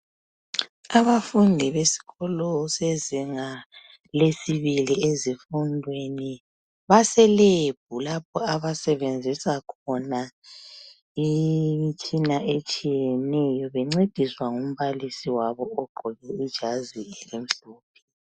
Abafundi besikolo sezinga lesibili ezifundweni baselebhu lapho abasebenzisa khona imitshina etshiyeneyobencediswa ngumbalisi wabo ogqoke ijazi elimhlophe.